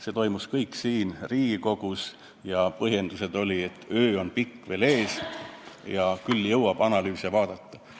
See kõik sai teoks siin Riigikogus, ja põhjendused olid, et pikk töö on veel ees, küll jõuab analüüse vaadata.